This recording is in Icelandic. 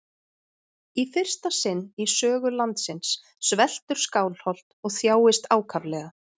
Í fyrsta sinn í sögu landsins sveltur Skálholt og þjáist ákaflega.